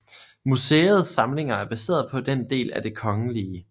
Museets samlinger er baseret på en del af Det Kgl